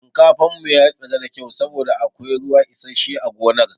Shinkafan mu tsira da kyau saboda akwai ruwa isashshe a gonar.